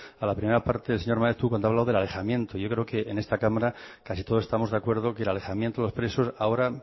a la primera parte del señor maeztu cuando ha hablado del alejamiento yo creo que en esta cámara casi todos estamos de acuerdo que el alejamiento de los presos ahora